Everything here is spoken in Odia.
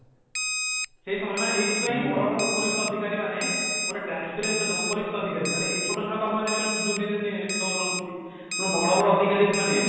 ସେଇ ସମୟରେ ମାନେ ଏଇଥି ପାଇଁ ବଡ ବଡ ଉପରିସ୍ଥ ଅଧିକାରୀ ମାନେ ଗୋଟେ transference ଉପରିସ୍ଥ ଅଧିକାରୀ ମାନେ ଏଇ ଛୋଟ ଛୋଟ କର୍ମଚାରୀ ଦୁର୍ନୀତି ରେ ଲିପ୍ତ ହୋଇ ରହୁଛନ୍ତି ବଡ ବଡ ଅଧିକାରୀ ମାନେ